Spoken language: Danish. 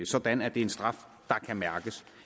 sådan at det er en straf der kan mærkes